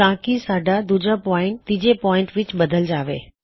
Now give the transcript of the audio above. ਤਾਂਕੀ ਸਾੱਡਾ ਦੂਜਾ ਪੌਇਨਟ ਤੀਜੇ ਪੌਇਨਟ ਵਿੱਚ ਬਦਲ ਜਾਵੇ